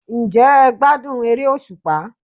Ǹ jẹ́ e gbádùn eré òsùpá?